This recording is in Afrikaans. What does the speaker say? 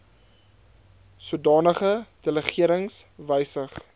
sodanige delegerings wysig